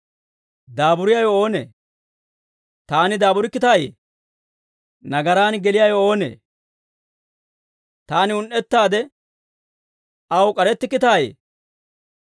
Daaburiyaawe oonee? Taani daaburikkitaayee? Nagaraan geliyaawe oonee? Taani un"ettaade aw k'arettikkitayee?